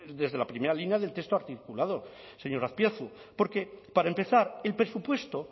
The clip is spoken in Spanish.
desde la primera línea del texto articulado señor azpiazu porque para empezar el presupuesto